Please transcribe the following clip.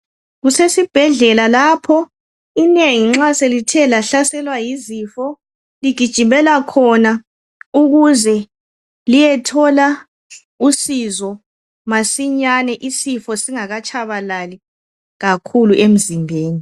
Kusesibhedlela lapho inengi nxa selithe bahlaselwa yizifo ligijimela khona ukuze liyethola usizo masinyane isifo singakatshabalali kakhulu emzimbeni.